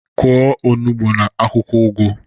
kụọ onugbu na akwụkwọ ugu.